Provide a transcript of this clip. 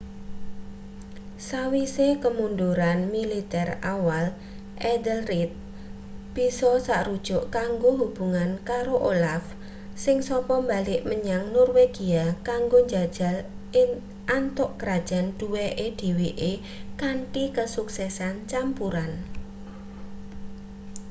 sawise kemunduran militer awal ethelred bisa sarujuk kanggo hubungan karo olaf sing sapa balik menyang norwegia kanggo njajal antuk krajan duweke dheweke kanthi kesuksesan campuran